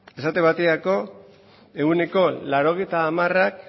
esate baterako ehuneko laurogeita hamara